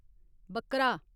बक्करा